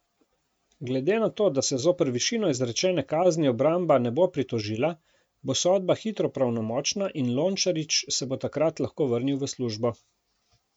Glede na to, da se zoper višino izrečene kazni obramba ne bo pritožila, bo sodba hitro pravnomočna in Lončarič se bo takrat lahko vrnil v službo.